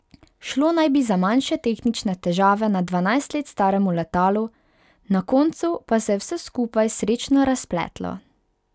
Šlo naj bi za manjše tehnične težave na dvanajst let staremu letalu, na koncu pa se je vse skupaj srečno razpletlo.